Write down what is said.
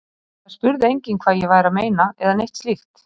Það spurði enginn hvað ég væri að meina eða neitt slíkt.